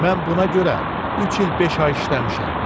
Mən buna görə üç il beş ay işləmişəm.